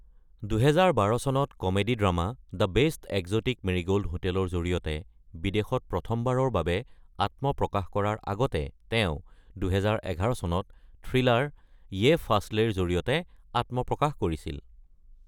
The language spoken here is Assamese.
২০১২ চনত comedy drama the best exotic marigold হোটেলৰ জৰিয়তে বিদেশত প্ৰথমবাৰৰ বাবে আত্মপ্ৰকাশ কৰাৰ আগতে তেওঁ ২০১১ চনত থ্ৰিলাৰ য়ে ফাছলেৰ জৰিয়তে আত্মপ্ৰকাশ কৰিছিল।